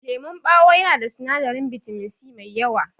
Lemon ɓawo yana da sinadarin bitamin C mai yawa.